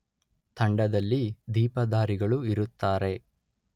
ತಂಡದಲ್ಲಿ ದೀಪಧಾರಿಗಳು ಇರುತ್ತಾರೆ